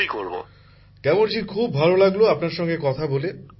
প্রধানমন্ত্রী জীঃ গ্যামরজী খুব ভাল লাগলো আপনার সাথে কথা বলে